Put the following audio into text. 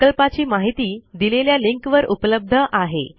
प्रकल्पाची माहिती दिलेल्या लिंक वर उपलब्ध आहे